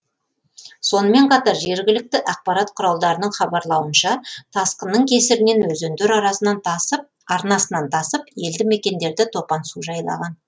сонымен қатар жергілікті ақпарат құралдарының хабарлауынша тасқынның кесірінен өзендер арнасынан тасып елді мекендерді топан су жайлаған